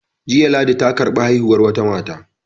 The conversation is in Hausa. Jiya ladi ta karɓi haihuwar wata mata